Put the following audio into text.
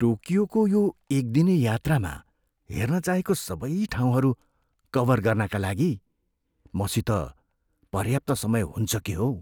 टोकियोको यो एक दिने यात्रामा हेर्न चाहेको सबै ठाउँहरू कभर गर्नाका लागि मसित पर्याप्त समय हुन्छ के हौ?